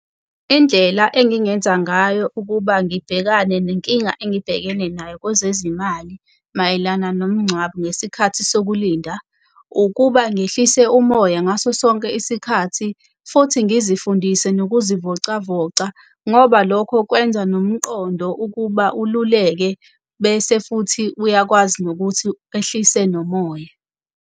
Indlela engingenza ngayo ukuba ngibhekane nenkinga engibhekene nayo kwezezimali mayelana nomngcwabo ngesikhathi sokulinda, ukuba ngehlise umoya ngaso sonke isikhathi futhi ngizifundise nokuzivocavoca ngoba lokho kwenza nomqondo ukuba ululeke bese futhi uyakwazi nokuthi ehlise nomoya.